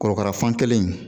Korokara fan kelen in